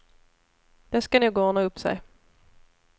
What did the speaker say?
Det ska nog ordna upp sig.